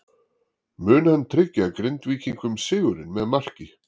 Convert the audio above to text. Mun hann tryggja Grindvíkingum sigurinn með marki?